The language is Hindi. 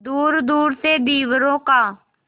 दूरदूर से धीवरों का